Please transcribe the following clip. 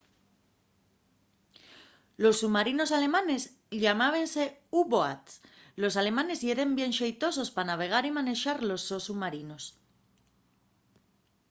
los submarinos alemanes llamábense u-boats los alemanes yeren bien xeitosos pa navegar y manexar los sos submarinos